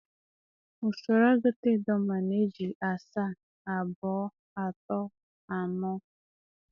Usoro agụta Idoma na-eji aasaa, abòò, atòò, anòò,